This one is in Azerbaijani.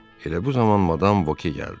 Elə bu zaman madam Boke gəldi.